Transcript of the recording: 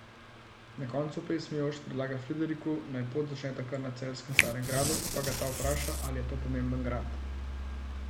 Na koncu pesmi Jošt predlaga Frideriku, naj pot začneta kar na celjskem Starem gradu, pa ga ta vpraša, ali je to pomemben grad.